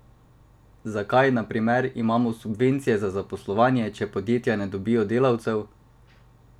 Zakaj na primer imamo subvencije za zaposlovanje, če podjetja ne dobijo delavcev?